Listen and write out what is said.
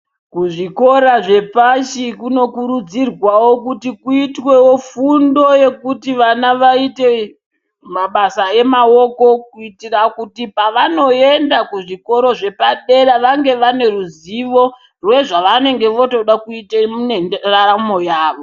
Kuzvikora zvepshi kutokurudzirwawo kuti kuitwewo fundo yekuti vana vaite mabasa amaoko kuitira kuti pavanoenda kuzvikoro zvepadera vange vaneruzivo yezvavanenge votoda kuite ngendaramo yavo.